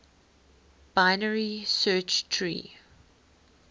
binary search tree